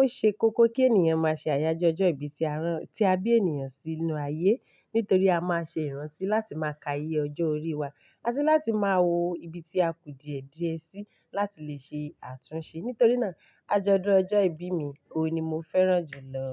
O ṣe kókó kí ènìyàn má ṣe àyájọ́ ọjọ́ ìbí tí a rán, tí a bí ènìyàn sì inú ayé. Nítorí a má ṣe ìrántí láti má ka iye ọjọ́ orí wa, àti láti má wo ibi tí a ku diẹ̀diẹ̀ sí láti lè ṣe àtúnṣe. Nítorí náà ajọ̀dún ọjọ́ ìbí mi, òun ni mo fẹ́ràn jù lọ.